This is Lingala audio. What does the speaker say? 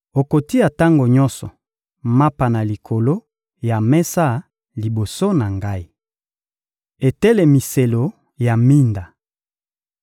Okotia tango nyonso mapa na likolo ya mesa liboso na Ngai. Etelemiselo ya minda